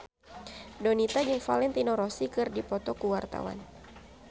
Donita jeung Valentino Rossi keur dipoto ku wartawan